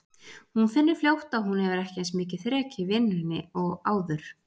Hún finnur fljótt að hún hefur ekki eins mikið þrek í vinnunni og áður.